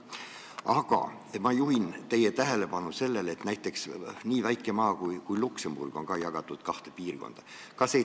Aga ma juhin teie tähelepanu sellele, et näiteks nii väike maa kui Luksemburg on ka kaheks piirkonnaks jagatud.